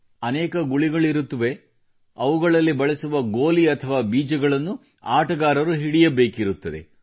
ಅನೇಕ ಗುಳಿಗಳಿರುತ್ತವೆ ಅವುಗಳಲ್ಲಿ ಬಳಸುವ ಗೋಲಿ ಅಥವಾ ಬೀಜಗಳನ್ನು ಆಟಗಾರರು ಹಿಡಿಯಬೇಕಿರುತ್ತದೆ